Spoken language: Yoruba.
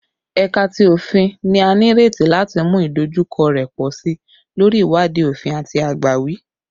Ẹka ti Ofin ni a nireti lati mu idojukọ rẹ pọ si lori iwadii ofin ati agbawi